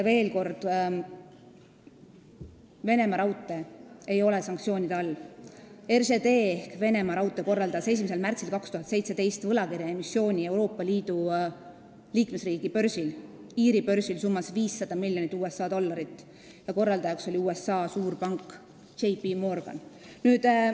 Veel kord, Venemaa Raudteed ei ole sanktsioonide all, RŽD ehk Venemaa Raudteed korraldas 1. märtsil 2017 võlakirjaemissiooni Euroopa Liidu liikmesriigi börsil, Iiri börsil summas 500 miljonit USA dollarit, selle korraldajaks oli USA suurpank J. P. Morgan.